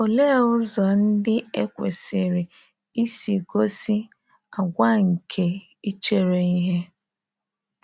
Olee ụzọ ndị e kwesịrị isi gosi “àgwà nke ichere ihe”?